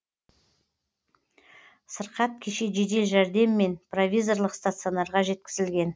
сырқат кеше жедел жәрдеммен провизорлық стационарға жеткізілген